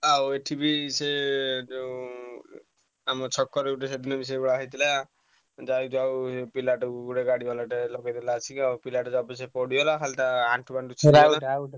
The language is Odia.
ଆଉ ଏଠି ବି ସେ ଯୋଉ ଆମ ଛକରେ ଗୋଟେ ସେଦିନ ବି ସେଇଭଳିଆ ହେଇଥିଲା। ଯାଉ ଯାଉ ପିଲାଟାକୁ ଗୋଟେ ଗାଡିବାଲାଟେ ଆଇଲା ବାଡ଼େଇଲା ଆସିକି ଆଉ ପିଲାଟେ ଅବଶ୍ୟ ପଡିଗଲା ଖାଲି ତା ଆଣ୍ଠୁଟା ଛିଣ୍ଡିଗଲା